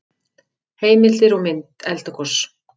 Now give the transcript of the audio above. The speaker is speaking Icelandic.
Heimildir og mynd Eldgos.